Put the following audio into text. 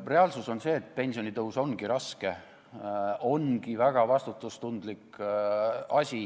Reaalsus on see, et pensionitõus ongi raske, see ongi väga vastutustundlik asi